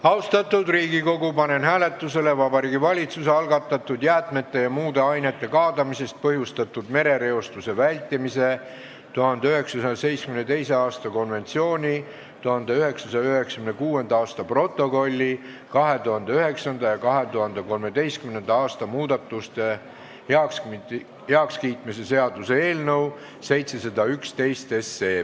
Austatud Riigikogu, panen hääletusele Vabariigi Valitsuse algatatud jäätmete ja muude ainete kaadamisest põhjustatud merereostuse vältimise 1972. aasta konventsiooni 1996. aasta protokolli 2009. ja 2013. aasta muudatuste heakskiitmise seaduse eelnõu 711.